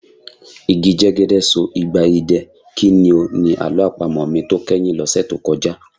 Igi jẹ́gẹ́dẹ́ so igba idẹ, kí ni o? Ni àlọ́ àpamọ̀ mi tó kẹ́yìn lọ́sẹ̀ tó kọjá.